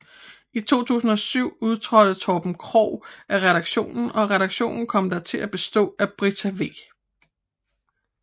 I 2007 udtrådte Torben Krogh af redaktionen og redaktionen kom da til at bestå af Brita V